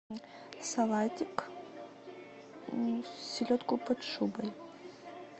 салатик селедку под шубой